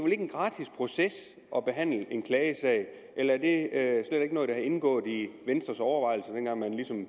en gratis proces at behandle en klagesag er det slet ikke noget der er indgået i venstres overvejelser dengang